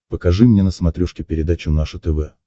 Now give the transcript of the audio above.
покажи мне на смотрешке передачу наше тв